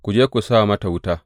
Ku je ku sa mata wuta.